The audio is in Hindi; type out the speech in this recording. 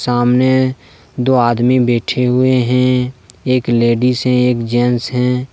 सामने दो आदमी बैठें हुएं हैं एक लेडीज़ है एक जेंट्स है।